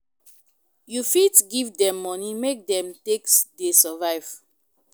You fit give dem money make dem take sey survive